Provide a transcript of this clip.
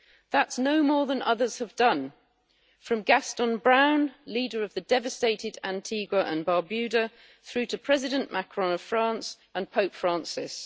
That's no more than others have done from Gaston Brown, leader of the devastated Antigua and Barbuda, through to President Macron of France and Pope Francis.